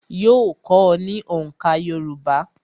Yóò kọ́ ọ ní òǹkà Yorùbá